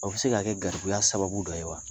O bɛ se ka kɛ garibuya sababu dɔ ye wa